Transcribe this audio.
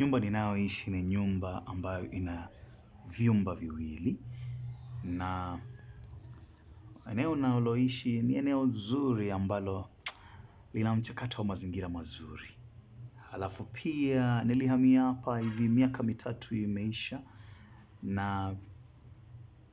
Nyumba ninayo ishi ni nyumba ambayo ina vyumba viwili. Na eneo ninalo ishi ni eneo zuri ambalo lina mchakato wa mazingira mazuri. Halafu pia nilihamia hapa hivi miaka mitatu imeisha. Na